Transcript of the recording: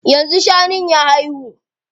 Yanzu shanun ya haihu?